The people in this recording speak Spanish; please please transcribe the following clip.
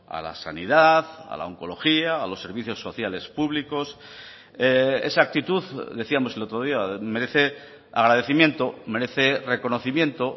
a la sanidad a la oncología a los servicios sociales públicos esa actitud decíamos el otro día merece agradecimiento merece reconocimiento